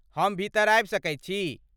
हम भीतर आबि सकैत छी?